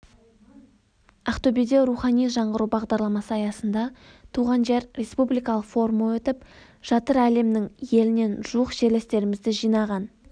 ақтөбеде рухани жаңғыру бағдарламасы аясында туған жер республикалық форумы өтіп жатыр әлемнің елінен жуық жерлестерімізді жинаған